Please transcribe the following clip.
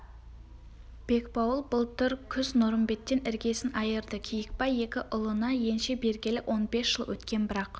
бекбауыл былтыр күз нұрымбеттен іргесін айырды киікбай екі ұлына енші бергелі он бес жыл өткен бірақ